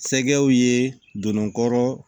Sɛgɛw ye don kɔrɔ